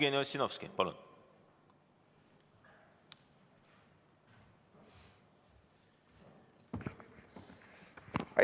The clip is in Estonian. Jevgeni Ossinovski, palun!